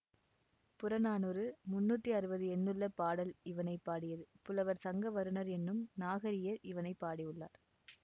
புறநானூறு முன்னூற்றி அறுபது எண்ணுள்ள பாடல் இவனை பாடியது புலவர் சங்கவருணர் என்னும் நாகரியர் இவனை பாடியுள்ளார்